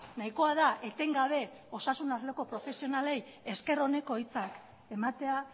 nahikoa da etengabe osasun arloko profesionalei esker oneko hitzak ematea